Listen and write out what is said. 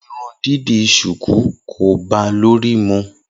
Irun dídì ṣùkú kò báa lórí mu.